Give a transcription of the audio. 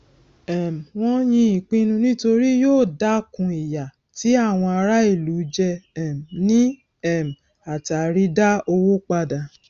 um wọn yín ìpinnu nítorí yóò dákun ìyà tí àwọn ará ìlú jẹ um ní um àtàrí dá owó padà